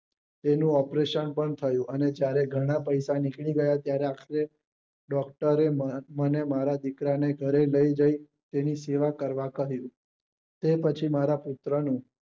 તેનું operation પણ થયું અને જયારે ઘણા પૈસા નીકળી ગયા ત્યારે doctor મારા દીકરા ને ઘરે લઇ ગયા તેની સેવા કરવા કહ્યું તે પછી મારા પુત્ર નું